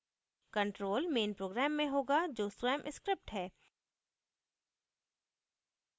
control main program में होगा जो स्वयं script है